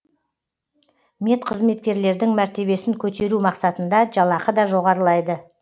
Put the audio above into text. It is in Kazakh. медқызметкерлердің мәртебесін көтеру мақсатында жалақы да жоғарылайды